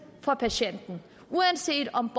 for patienten uanset om